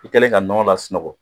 I kɛlen ka nɔnɔ lasunɔgɔ